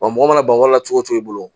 Wa mɔgɔ mana ban wa la cogo o cogo i bolo